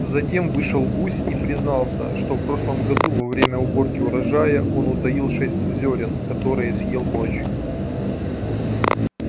затем вышел гусь и признался что в прошлом году во время уборки урожая он утаил шесть зёрен которые съел ночью